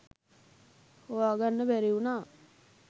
හොයා ගන්න බැරි වුණා.